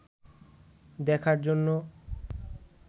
দেখার জন্য